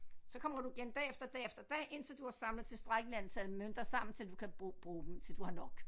Så kommer du igen dag efter dag efter dag indtil du har samlet tilstrækkeligt antal mønter sammen til du kan bruge bruge dem til du har nok